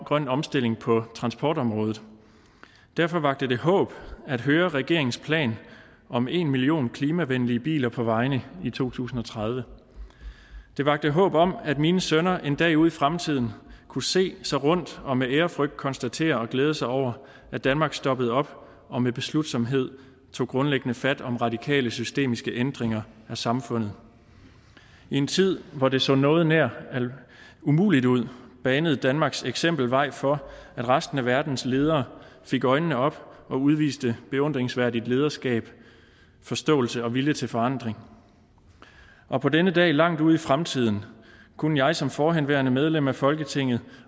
grøn omstilling på transportområdet derfor vakte det håb at høre regeringens plan om en million klimavenlige biler på vejene i to tusind og tredive det vakte håb om at mine sønner en dag ude i fremtiden kunne se sig rundt og med ærefrygt konstatere og glæde sig over at danmark stoppede op og med beslutsomhed tog grundlæggende fat om radikale systemiske ændringer af samfundet i en tid hvor det så noget nær umuligt ud banede danmarks eksempel vej for at resten af verdens ledere fik øjnene op og udviste beundringsværdigt lederskab forståelse og vilje til forandring og på denne dag langt ude i fremtiden kunne jeg som forhenværende medlem af folketinget